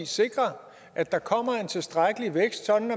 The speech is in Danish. sikre at der kommer en tilstrækkelig vækst så